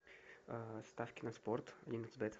ставки на спорт один икс бет